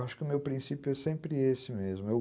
Acho que o meu princípio é sempre esse mesmo.